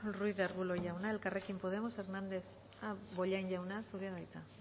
ruiz de arbulo jauna elkarrekin podemos bollain jauna zurea da hitza